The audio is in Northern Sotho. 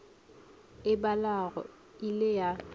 e balwago e le ya